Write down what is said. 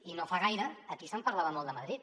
i no fa gaire aquí se’n parlava molt de madrid